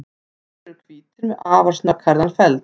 Þeir eru hvítir með afar snögghærðan feld.